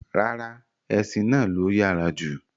Ràrà, ẹṣin náà ló yára jù